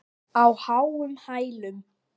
Á háum hælum.